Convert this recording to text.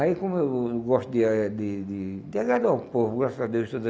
Aí como eu não não gosto de a de de de agradar o povo, graças a Deus me deu,